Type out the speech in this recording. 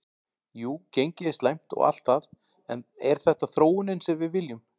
Jú gengið er slæmt og allt það en er þetta þróunin sem við viljum?